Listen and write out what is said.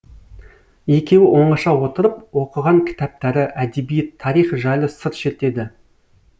екеуі оңаша отырып оқыған кітаптары әдебиет тарих жайлы сыр шертеді